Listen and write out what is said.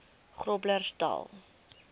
groblersdal